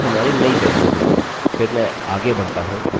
अतः यह हमारी नई वेल्यू होगी